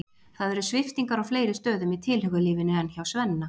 Það eru sviptingar á fleiri stöðum í tilhugalífinu en hjá Svenna.